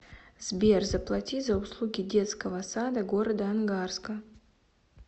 сбер заплати за услуги детского сада города ангарска